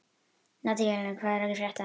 Nataníel, hvað er að frétta?